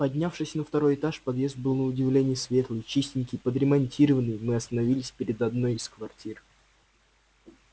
поднявшись на второй этаж подъезд был на удивление светлый чистенький подремонтированный мы остановились перед одной из квартир